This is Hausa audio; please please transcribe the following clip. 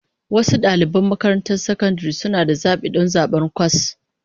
Wasu ɗaliban makarantar sakandare suna da zaɓi don zaɓar kwas